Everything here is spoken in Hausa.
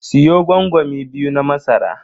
Siyo gwangwami biyu na masara.